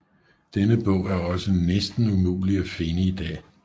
Denne bog er også næsten umuligt at finde i dag